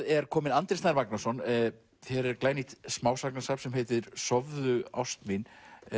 er kominn Andri Snær Magnason hér er glænýtt smásagnasafn sem heitir sofðu ást mín